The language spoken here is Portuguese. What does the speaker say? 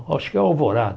Acho que é Alvorada.